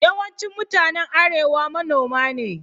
Yawancin mutanen Arewa manoma ne.